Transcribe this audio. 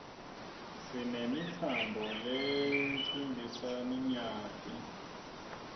sinemitsamb lelcmbisaninyati